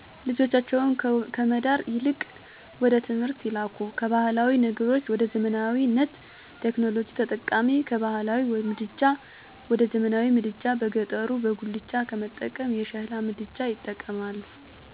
ልጆቻቸውን ከመዳር ይልቅወደትምህርት ይልካሉ ካባህላዊ ነገሮች ወደዘመናዊነት፣ ቴክኖሎጂ ተጠቃሚ፣ ከባህላዊ ምድጃ ወደዘመናዊ ምድጃ በገጠሩበጉላቻ ከመጠቀም የሸሕላ ምድጃዎች ይጠቀማሉ። አባቶች በበሬ ከመዉቃት ይልቁንም በማሽን እየተጠቀሙነዉ። የእጅ መብራት ቀርቶ ዛሬሶላርይጠቀማሉ። በከተማው የሚወድቁ ቆሻሻዎች በየሰዓቱ ይነሳሉ፣ የህለት ተህለት እንቅስቃሴአችን ከቴክኖሎጅእ ጋር የተጣመረ እና የተያያዘ ነዉ። ለምሳሌ ለምግብ ማበሳሳያነት የምንጠቀመዉምኤሌክትረመክነዉ ገበያ የምንገበያየዉ በሞባየል ባንኪግ ነዉ።